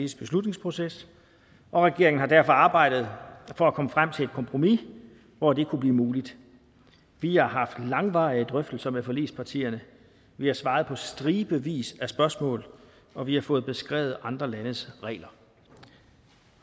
beslutningsproces og regeringen har derfor arbejdet for at komme frem til et kompromis hvor det kunne blive muligt vi har haft langvarige drøftelser med forligspartierne vi har svaret på stribevis af spørgsmål og vi har fået beskrevet andre landes regler